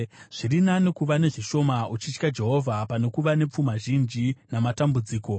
Zviri nani kuva nezvishoma uchitya Jehovha, pane kuva nepfuma zhinji namatambudziko.